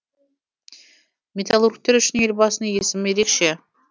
металлургтер үшін елбасының есімі ерекше